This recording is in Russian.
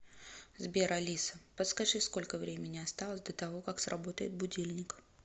сбер алиса подскажи сколько времени осталось до того как сработает будильник